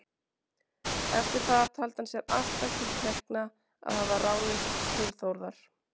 Eftir það taldi hann sér alltaf til tekna að hafa ráðist til Þórðar.